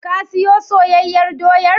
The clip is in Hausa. Ka siyo soyayyar doyar?